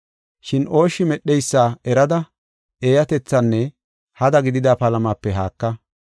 Shin ooshshi medheysa erada eeyatethinne hada gidida palamape haaka.